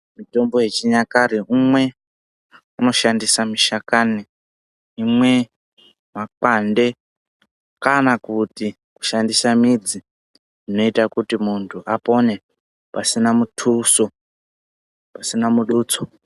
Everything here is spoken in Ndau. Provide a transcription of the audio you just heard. Mitombo yechinyakare umwe unoshandisa mashakani, umwe makwande kana kuti kushandisa midzi zvinoita kuti muntu apone pasina mutuso.